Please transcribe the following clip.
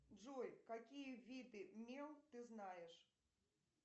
джой какие виды мел ты знаешь